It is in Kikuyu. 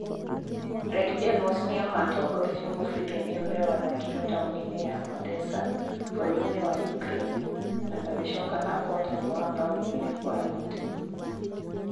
Red Devils nĩo maatongoririe mũbira ũrĩa wathakĩrwo taũni-inĩ ya Odessa bũrũri-inĩ wa Ukraine na magĩcoka na ũhootani wa mbaũ igĩrĩ kwa noti.